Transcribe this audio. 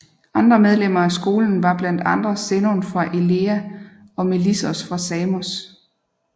Andre medlemmer af skolen var blandt andre Zenon fra Elea og Melissos fra Samos